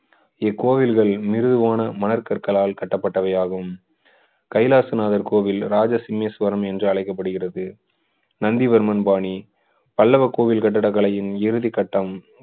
இக்கோவில்கள் மிருதுவான மணக்கற்களால் கட்டப்பட்டவையாகும் கைலாசநாதர் கோவில் ராஜசிமேஸ்வரம் என்று அழைக்கப்படுகிறது நந்திவர்மன் பாணி பல்லவ கோவில் கட்டிடக்கலையின் இறுதிக்கட்டம்